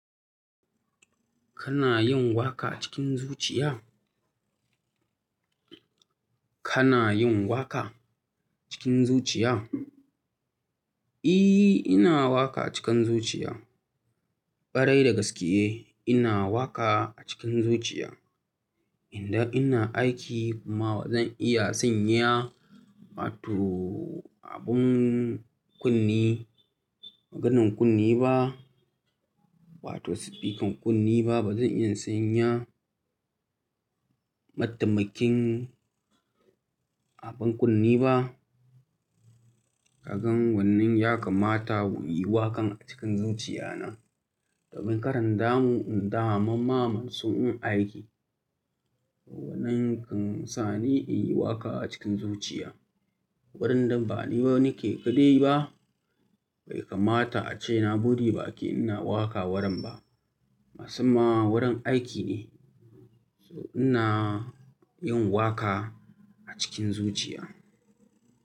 Kana yin waƙa cikin zuciya? Kana yin waƙa cikin zuciya? I, ina waƙa cikin zuciya. Ɓarai da gaske eh ina waƙa cikin zuciya. Idan ina aiki kuma bazan iya sanya wato abin kunne, maganan kunne ba, wato sifikan kunne ba. Bazan iya sanya matamakin abin kunne ba. Kagan wannan ya kamata mu yi waƙan cikin zuciya nan. Domin ƙaran damu, in da mu mamma sun yi aiki. Wannan kan sa ni in yi waƙa cikin zuciya. Warin nan ba ni ba nake kadai ba. Bai kamata ace na buɗe baƙi ina waƙa waran ba. Masamman warin aiki ne. So ina yin waƙa a cikin zuciya.